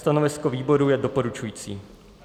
Stanovisko výboru je doporučující.